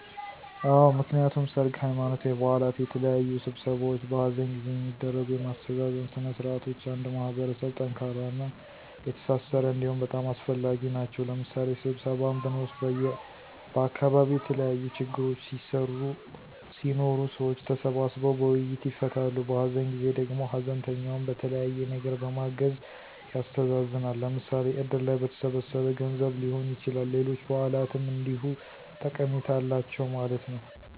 አወ፦ ምክንያቱም ሰርግ፣ ሃይማኖታዊ በዓላት፣ የተለያዩ ስብሰባዎች፣ በሃዘን ጊዜ የሚደረጉ የማስተዛዘን ስነ ስርዓቶች አንድ ማህበረሰብ ጠንካራና የተሣሠረ እንዲሆን በጣም አስፈላጊ ናቸዉ። ለምሣሌ ስብሰባን ብንወስድ በዓካባቢዉ የተለያዪ ችግሮች ሢኖሩ ሰዎች ተሰባስበዉ በዉይይት ይፈታሉ። በሃዘን ጊዜ ደግሞ ሃዘንተኛውን በተለያየ ነገር በማገዝ ያስተዛዝናል። ለምሣሌ እድር ላይ በተሠበሠበ ገንዘብ ሊሆን ይችላል፣ ሌሎች በዓላትም እንዲሁ ጠቀሜታ አላቸው ማለት ነዉ።